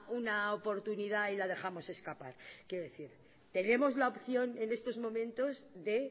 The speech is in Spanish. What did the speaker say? una oportunidad y la dejamos escapar quiero decir tenemos la opción en estos momentos de